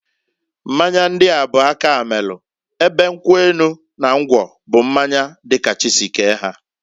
Mmanya ndia bu aka melu, ebe nkwu enu na ngwọ bụ mmanya di ka chi si kee ha.